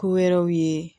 Ko wɛrɛw ye